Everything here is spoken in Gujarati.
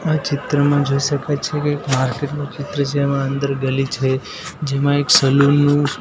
આ ચિત્રમાં જોઈ શકાય છે કે એક માર્કેટનું ચિત્ર છે એમાં અંદર ગલી છે જેમાં એક સલુન નું--